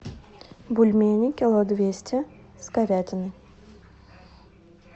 бульмени кило двести с говядиной